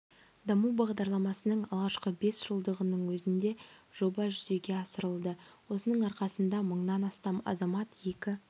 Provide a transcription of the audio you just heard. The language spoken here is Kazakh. даму бағдарламасының алғашқы бес жылдығының өзінде жоба жүзеге асырылды осының арқасында мыңнан астам азамат екі